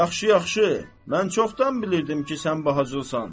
Yaxşı-yaxşı, mən çoxdan bilirdim ki, sən bacılsan.